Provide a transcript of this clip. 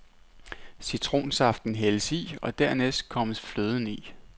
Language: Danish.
Citronsaften hældes i, og dernæst kommes fløden i.